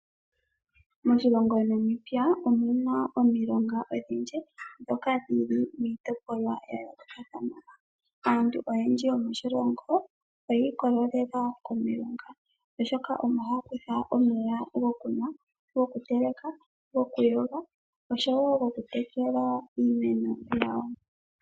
Moshilongo Namibia omuna omilonga odhindji ndhoka dhili miitopolwa ya yoolokathana. Aantu oyendji yomoshilongo oyii kolelela komeya gomomulonga, oshoka omo haya kutha omeya gokunwa, gokuteleka, gokuyoga oshow wo goku tekela iimeno yawo.